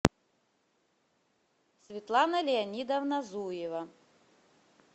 светлана леонидовна зуева